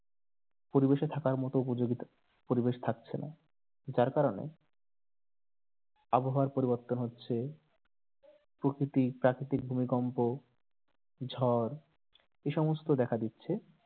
পরিবেশে থাকার মতো উপযোগী পরিবেশ থাকছেনা যার কারণে আবহাওয়ার পরিবর্তন হচ্ছে প্রকৃতি প্রাকৃতিক ভূমিকম্প ঝড় এই সমস্ত দেখা দিচ্ছে